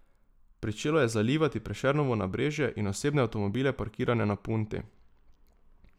Pričelo je zalivati Prešernovo nabrežje in osebne avtomobile parkirane na Punti.